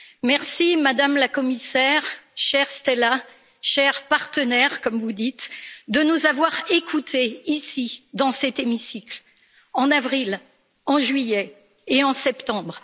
Merci, Madame la Commissaire, chère Stella, chère partenaire, comme vous dites, de nous avoir écoutés, ici, dans cet hémicycle, en avril, en juillet et en septembre.